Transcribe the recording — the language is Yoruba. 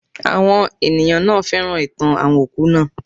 Àwọn ènìyàn náà féràn ìtàn àwọn òkú naa